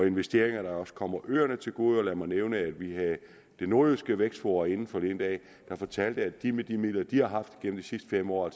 investeringer der også kommer øerne til gode lad mig nævne at vi havde det nordjyske vækstforum inde forleden dag der fortalte at de med de midler de har haft gennem de sidste fem år